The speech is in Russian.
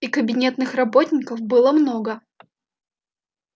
и кабинетных работников было много